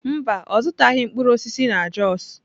Mba, ọ zụtaghị mkpụrụ osisi na jos.